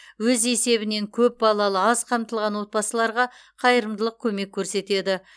өз есебінен көп балалы аз қамтылған отбасыларға қайырымдылық көмек көрсетеді